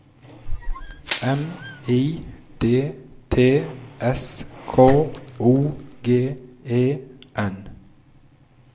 M I D T S K O G E N